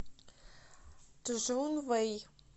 чжунвэй